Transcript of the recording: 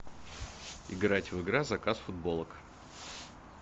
играть в игра заказ футболок